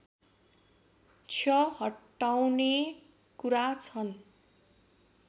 क्ष हटाउने कुरा छन्